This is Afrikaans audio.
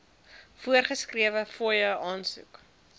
voorgeskrewe fooie aansoek